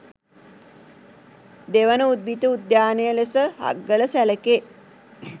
දෙවන උද්භිත උද්‍යානය ලෙස හග්ගල සැළකේ